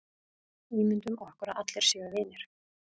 Ímyndum okkur að allir séu vinir.